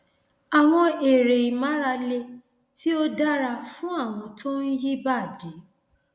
àwọn eré ìmárale tí ó dára fún àwọn tó ń yí ìbàdí